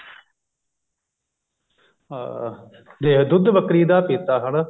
ਅਹ ਜੇ ਦੁੱਧ ਬੱਕਰੀ ਦਾ ਪਿੱਤਾ ਹਣਾ